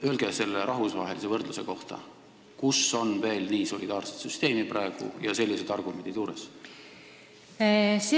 Küsingi selle rahvusvahelise võrdluse kohta: kus on praegu veel nii solidaarne süsteem, mis tugineb sellistele argumentidele?